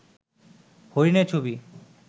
হরিণের ছবি